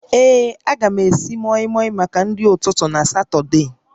Ee, a ga m esi mọịmọị maka nri ụtụtụ na Satọde